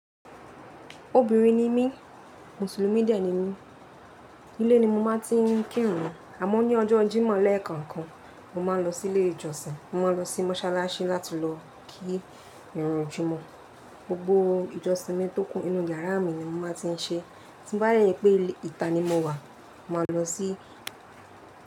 Obinrin ni mí, musulumi de ni mí. Ile ni mo máa tí ń kírun, àmọ́ ní ọjọ́ jímọ̀ lẹ́ẹ̀kankan mo máa ń lọ sí ilé ìjọsìn. Mo máa ń lọ sí mọ́ṣáláṣí láti lọ kí ìran jímọ̀. Gbogbo ìjọsìn mi tó kún inú yàrá mi ni mo máa ti ń ṣe. To bá je je pé ìta ni mo wà, máa lọ sí.